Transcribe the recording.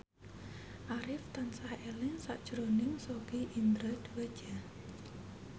Arif tansah eling sakjroning Sogi Indra Duaja